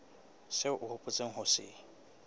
seo o hopotseng ho se